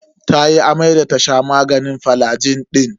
Tayi amai da ta sha maganin flagil din.